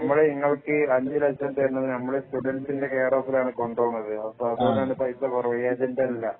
നമ്മൾ ഇങ്ങൾക്ക് അഞ്ച് ലക്ഷം തരുന്നത് നമ്മള് സ്റ്റുഡന്റിന്റെ കെയർ ഓഫിലാണ് കൊണ്ടുപോകുന്നത് അപ്പൊ അത്കൊണ്ടാണ് പൈസ കുറവ് ഏജന്റ് അല്ല